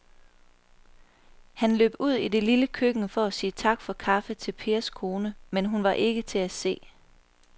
Han løb ud i det lille køkken for at sige tak for kaffe til Pers kone, men hun var ikke til at se.